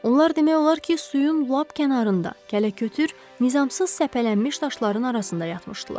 Onlar demək olar ki, suyun lap kənarında, kələkötür nizamsız səpələnmiş daşların arasında yatmışdılar.